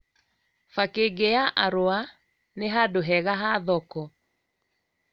Bakĩ'ngi ya arũa nĩ handũ hega ha thoko